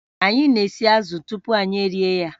Anyị na-esi azụ̀ tupu anyị erie ya